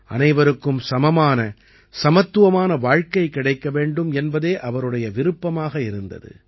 அனைவருக்கும் சமமான சமத்துவமான வாழ்க்கை கிடைக்க வேண்டும் என்பதே அவருடைய விருப்பமாக இருந்தது